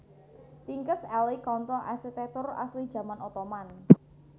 Tinkers Alley Conto arsitèktur asli jaman Ottoman